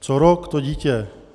Co rok, to dítě.